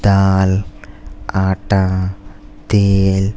दाल आटा तेल --